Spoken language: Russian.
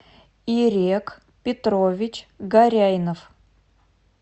ирек петрович горяйнов